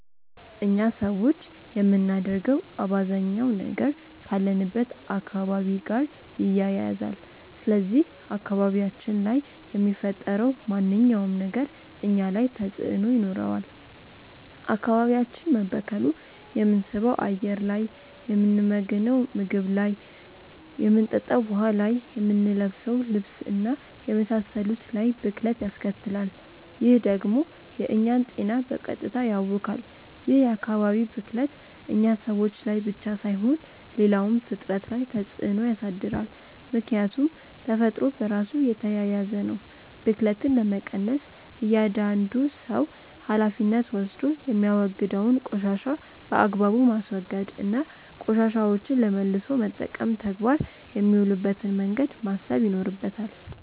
እኛ ሰዎች የምናደርገው አባዛኛው ነገር ካለንበት አካባቢ ጋር ይያያዛል። ስለዚህ አካባቢያችን ላይ የሚፈጠረው ማንኛውም ነገር እኛ ላይ ተጽእኖ ይኖረዋል። አካባቢያችን መበከሉ የምንስበው አየር ላይ፣ የምንመገንው ምግብ ላይ፣ የምንጠጣው ውሀ ላይ፣ የምንለብሰው ልብስ እና የመሳሰሉት ላይ ብክለት ያስከትላል። ይህ ደግሞ የእኛን ጤና በቀጥታ ያውካል። ይህ የአካባቢ ብክለት እኛ ሰዎች ላይ ብቻ ሳይሆን ሌላውም ፍጥረት ላይ ተፅእኖ ያሳድራል። ምክያቱም ተፈጥሮ በራሱ የተያያዘ ነው። ብክለትን ለመቀነስ እያዳንዱ ሰው ሀላፊነት ወስዶ የሚያወግደውን ቆሻሻ በአግባቡ ማስወገድ እና ቆሻሻዎችን ለመልሶ መጠቀም ተግባር የሚውልበትን መንገድ ማሰብ ይኖርበታል።